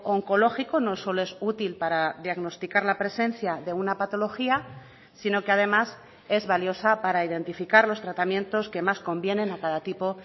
oncológico no solo es útil para diagnosticar la presencia de una patología sino que además es valiosa para identificar los tratamientos que más convienen a cada tipo